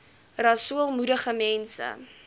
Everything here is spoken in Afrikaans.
rasool moedig mense